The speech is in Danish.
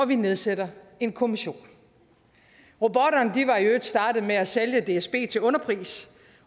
vi nedsætter en kommission robotterne var i øvrigt startet med at sælge dsb til underpris